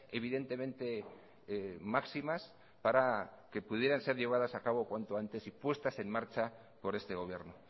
evidentemente máximas para que pudieran ser llevadas a cabo cuanto antes y puestas en marcha por este gobierno